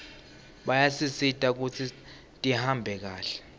bayasisita kutsi tihambe kahle